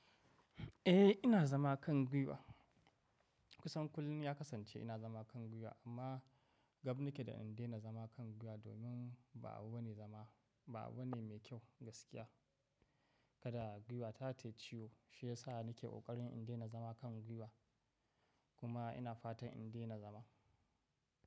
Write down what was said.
Eh ina zama kan gwiwa. Kusan kullum ya kasance ina zama kan gwiwa amma gab nake da in daina zama kan gwiwa domin ba abu bane zama, ba abu ne mai kyau gaskiya. Kada gwiwa ta tayi ciwo shi ya sa nake ƙoƙarin in daina zama kan gwiwa kuma ina fatan in daina zama.